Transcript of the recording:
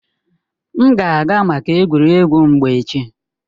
M ga-aga maka egwuregwu mgba echi